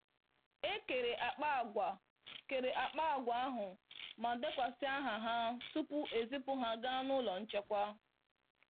E kere akpa àgwà kere akpa àgwà ahụ ma dekwasị aha ha tupu ezipụ ha ga n'ụlọ nchekwa.